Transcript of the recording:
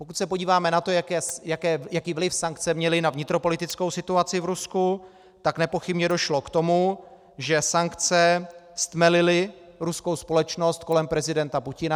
Když se podíváme na to, jaký vliv sankce měly na vnitropolitickou situaci v Rusku, tak nepochybně došlo k tomu, že sankce stmelily ruskou společnost kolem prezidenta Putina.